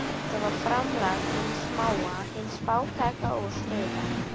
Þetta var framlag hins smáa, hins fátæka og snauða.